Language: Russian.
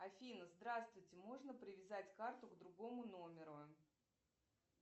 афина здравствуйте можно привязать карту к другому номеру